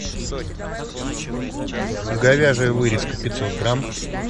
говяжья вырезка пятьсот грамм